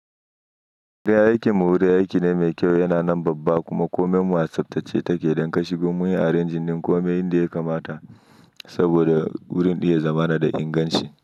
Raye aiki murya aiki ne mai kyau, yana nan babba kuma komai masu tsaftace take don ka shigo muyi a renjin din komai yanda ya kamata saboda wurin ɗin ya zama na da inganci.